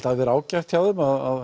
hafi verið ágætt hjá þeim að